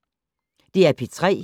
DR P3